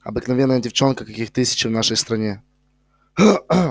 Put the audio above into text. обыкновенная девчонка каких тысячи в нашей стране